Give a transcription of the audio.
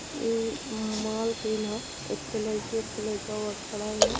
इ माल सीन ह। एक थो लइका एक थो लईकी ओहन खड़ा हवन।